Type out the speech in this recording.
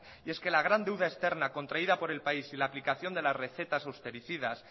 y es que la gran deuda externa contraída por el país y la aplicación de las recetas austericidas